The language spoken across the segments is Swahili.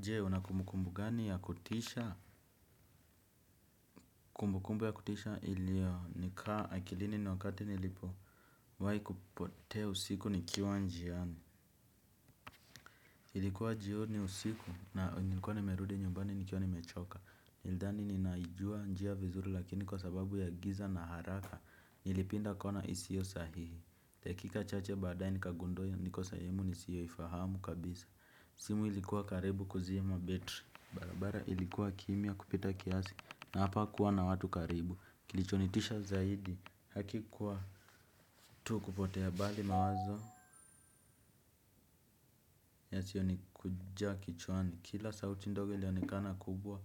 Je una kumbukumbu gani ya kutisha kumbukumbu ya kutisha ilio nikaa akilini ni wakati nilipowahi kupotea usiku nikiwa njiani. Ilikuwa jioni usiku na nilikuwa nimerudi nyumbani nikiwa nimechoka. Nilidhani ninaijua njia vizuri lakini kwa sababu ya giza na haraka nilipinda kona isiyo sahihi dakika chache baadaye nikagundua niko sehemu nisiyoifahamu kabisa simu ilikuwa karibu kuzima betri. Barabara ilikuwa kimya kupita kiasi na hapakuwa na watu karibu kilichonitisha zaidi hakikuwa tu kupotea bali mawazo yasionikuja kichwani kila sauti ndogo ilionekana kubwa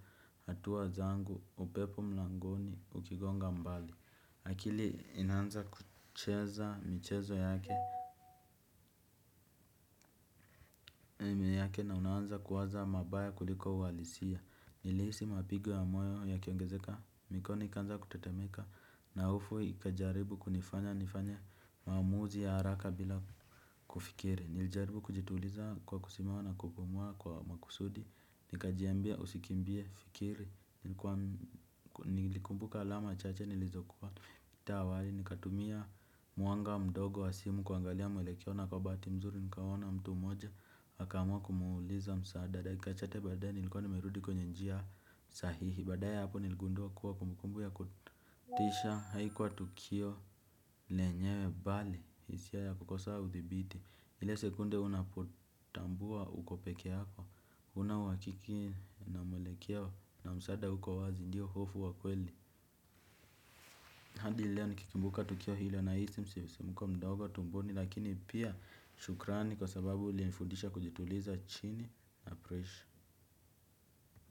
hatua zangu upepo mlangoni ukigonga mbali. Akili inaanza kucheza michezo yake yake na unaanza kuwaza mabaya kuliko uhalisia. Nilihisi mapigo ya moyo yakiongezeka mikono ikaanza kutetemeka na hofu ikajaribu kunifanya nifanye maamuzi ya haraka bila kufikiri. Nilijaribu kujituliza kwa kusimama na kupumua kwa makusudi. Nikajiambia usikimbie fikiri. Nilikumbuka alama chache nilizokuwa. Taa awali nikatumia mwanga mdogo wa simu kuangalia mwelekeo na kwa bahati mzuri nikaona mtu mmoja akaamua kumuuliza msaada dakika chache baadaye nilikuwa nimerudi kwenye njia sahihi. Baadaye hapo niligundua kuwa kumbukumbu ya kutisha haikuwa tukio lenyewe bali hisia ya kukosa udhibiti. Ile sekunde unapotambua uko pekee yako huna uhakiki na mwelekeo na msaada hauko wazi ndio hofu wa kweli. Hadi leo nikikimbuka tukio hilo nahisi msisimko mdogo tumboni lakini pia shukrani kwa sababu ilinifundisha kujituliza chini ya presha.